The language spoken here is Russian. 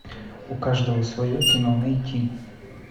у каждого свое кино найти